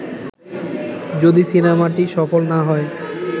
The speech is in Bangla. যদি সিনেমাটি সফল না হয়